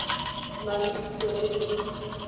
na le thuto e e